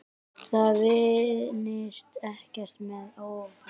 Það vinnist ekkert með offorsi.